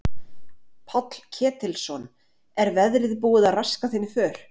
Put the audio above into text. Páll Ketilsson: Er veðrið búið að raska þinni för?